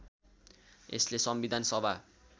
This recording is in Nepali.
यसले संविधान सभा